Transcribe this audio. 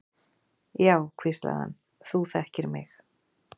Já, hvíslaði hann, þú þekkir mig.